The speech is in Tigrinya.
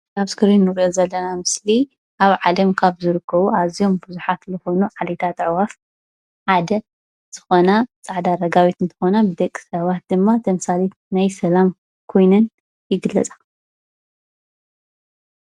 እዚ ኣብ እስክሪን እንሪኦ ዘለና ምስሊ ኣብ ዓለም ካብ ዝርከቡ ኣዝዮም ብዙሓት ዝኮኑ ዓሌታት ኣዕዋፍ ሓደ ዝኮና ፃዕዳ ረጋቢት እንትኮና ን ደቂ ሰባት ድማ ተምሳሊት ናይ ሰላም ኮይነን ይግለፃ::